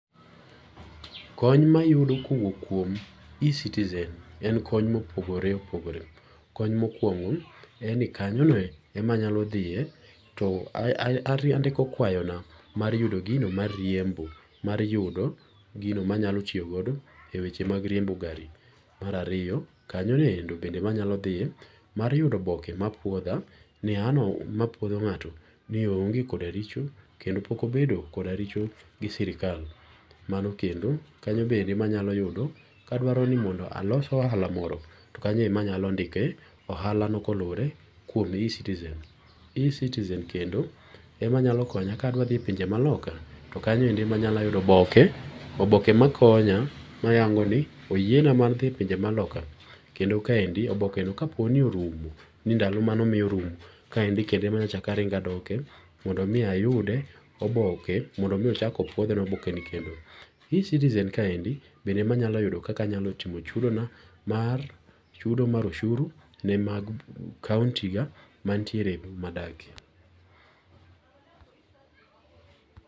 Kony ma ayudo ka owuok kuom e-citizen en kony ma opogore opogore. Kony mokuongo en ni kanyono emanyalo thiye to andiko kwayona mar yudo gino mar riembo mar yudo gino manyalo tiyogodo e weche mag riembo gari. Marariyo kanyonoendo bende emanyalo thiye mar yudo oboke mapuodha ni nga'no mapuodho nga'to ni onge' koda richo kendo pokobedo koda richo gi sirikal. Mano mano kendo kanyo kendo emanyalo yudo ka adwaroni alos ohala moro to kanyo emanyalo ndike ohalano koluwore kuom e-citizen. E-citizen kendo emanyalo konya ka adwathiye pinje maloka to kanyo eko emanyalo yude oboke, oboke makonya mayango ni oyiena mar thi e pinje maloka kendo kaendi obokeno kaponi orumo ni ndalo mana omiya orumo kaendi kendo ema achakaringo adoke mondo omiya ayude oboke mondo omi ochako puothe na obokeni kendo. e-citizen kaendi bende emanyalo yudo kaka anyalo timo chudona mar chudo mar oshuru ne mag kaunti ga manitiere madake